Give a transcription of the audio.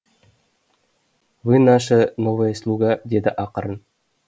вы наша новая слуга деді ақырын